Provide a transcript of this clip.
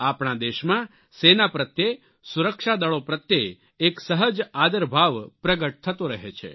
આપણા દેશમાં સેના પ્રત્યે સુરક્ષાદળો પ્રત્યે એક સહજ આદરભાવ પ્રગટ થતો રહે છે